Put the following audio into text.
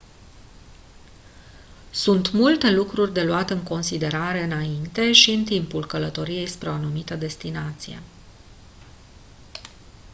sunt multe lucruri de luat în considerare înainte și în timpul călătoriei spre o anumită destinație